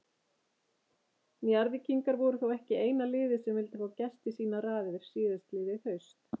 Njarðvíkingar voru þó ekki eina liðið sem vildi fá Gest í sínar raðir síðastliðið haust.